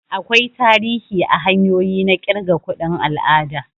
Akwai tarihi a hanyoyi na kirga kuɗin al'ada.